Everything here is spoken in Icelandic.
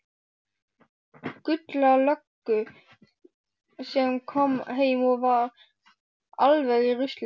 Gulla löggu sem kom heim og var alveg í rusli.